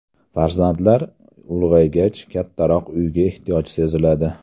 Farzandlar ulg‘aygach, kattaroq uyga ehtiyoj seziladi.